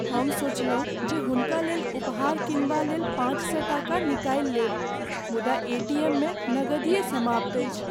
हम सोचलहुँ जे हुनकालेल उपहार किनबालेल पाँच सए टाका निकालि लेब मुदा एटीएममे नगदिए समाप्त अछि।